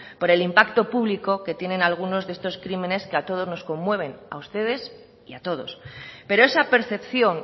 por el impacto público que tienen algunos de estos crímenes que a todos nos conmueven a ustedes y a todos pero esa percepción